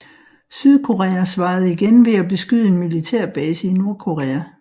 Sydkorea svarede igen ved at beskyde en militærbase i Nordkorea